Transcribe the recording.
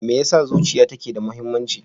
Me yasa zuciya take da muhimmanci?